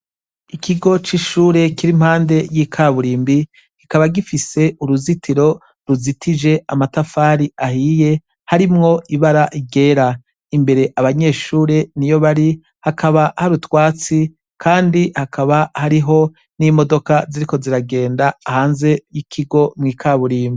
Ikigo c'ishure kiri impande y'ikaburimbi kikaba gifise uruzitiro ruzitije amatafari ahiye harimwo ibara ryera, imbere abanyeshure niyo bari hakaba hari utwatsi kandi hakaba hariho n'imodoka ziriko ziragenda hanze y'ikigo mw'ikaburimbo.